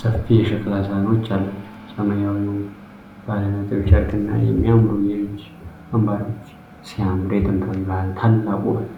ሰፊ የሸክላ ሳህኖች አላቸው። ሰማያዊው ባለነጥብ ጨርቅና የሚያማምሩ የእጅ አምባሮች ሲያምር! የጥንታዊ ባህል ታላቅ ውበት!